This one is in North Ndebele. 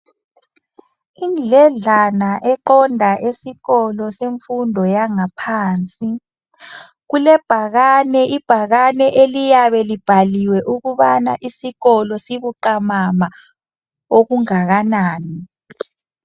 Indledlana eqonda esikolo semfundo yangaphansi kulebhakane ibhakane eliyabe libhaliwe ukubana isikolo sibuqamama okungakanani